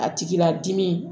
A tigila dimi